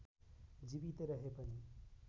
जीवितै रहे पनि